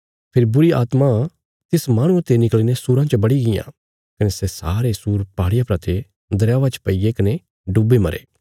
फेरी बुरीआत्मां तिस माहणुये ते निकल़ीने सूराँ च बड़ी गियां कने सै सारे सूर पहाड़िया परा ते दरयावा च पैईगै कने डुब्बी मरे